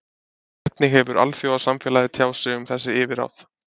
Hvernig hefur alþjóðasamfélagið tjáð sig um þessi yfirráð?